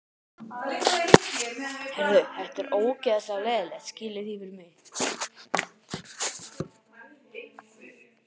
Hann fór fram í til bílstjórans og sagði afsakandi: Ég hef gleymt peningunum heima.